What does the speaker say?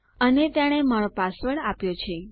અને તેણે મારો પાસવર્ડ આપ્યો છે